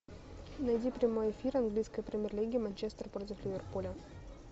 найди прямой эфир английской премьер лиги манчестер против ливерпуля